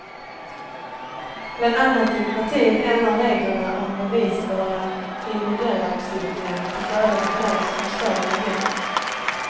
Bland annat vill partiet ändra reglerna om bevisbörda i miljölagstiftningen till fördel för dem som förstör miljön.